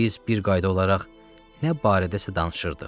Biz bir qayda olaraq nə barədəsə danışırdıq.